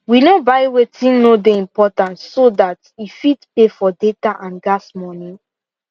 we no buy wetin no dey important so that e fit pay for data and gas money